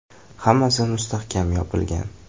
“Hammasi mustahkam yopilgan.